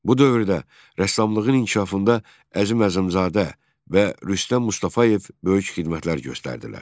Bu dövrdə rəssamlığın inkişafında Əzim Əzimzadə və Rüstəm Mustafayev böyük xidmətlər göstərdilər.